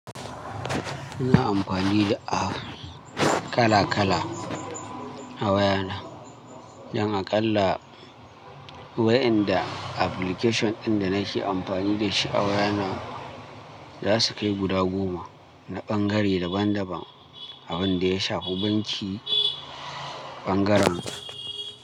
Muna amfanida a kala kala a wayana. Don aƙalla wayanda application ɗinda nake amfani dashi a wayana zasu kai guda goma, na bangare daban daban, abinda ya shafi bincike ɓangaren.